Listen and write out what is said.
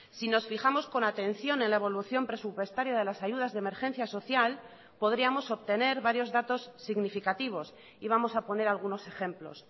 si nos fijamos con atención en la evolución presupuestaria de las ayudas de emergencia social podríamos obtener varios datos significativos y vamos a poner algunos ejemplos